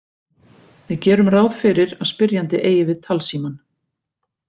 Við gerum ráð fyrir að spyrjandi eigi við talsímann.